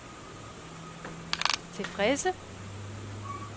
tilfredse